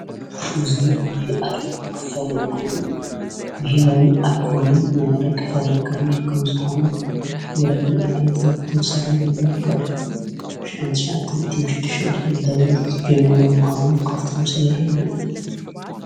እዙይ ናይ ኣርማ ኽፋለ ኮይኑ ብሔራዊ ኣልኮሃልን ናይ ኣረቅ ፋብሪካን ከም ዝኾነ ይረድእ ማለት እዩ። ዝተመሰረተ ድማ ካብ ሽሕንሻዓቶም እትምሽድሽን ኣምተምህረት ዝጀመረ ምዃኑ ካፍቲ ምስን ይረድእ።